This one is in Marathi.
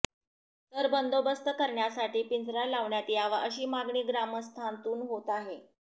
तर बंदोबस्त करण्यासाठी पिंजरा लावण्यात यावा अशी मागणी ग्रामस्थांतून होत आहे